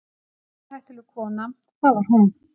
Stórhættuleg kona, það var hún.